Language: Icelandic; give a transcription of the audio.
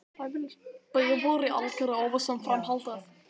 Bíður í algerri óvissu um framhaldið.